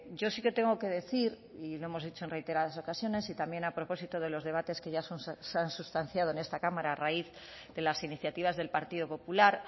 yo sí que tengo que decir y lo hemos dicho en reiteradas ocasiones y también a propósito de los debates que ya se han sustanciado en esta cámara a raíz de las iniciativas del partido popular